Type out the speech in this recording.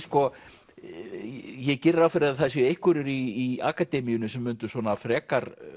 ég geri ráð fyrir að það séu einhverjir í akademíunni sem mundu svona frekar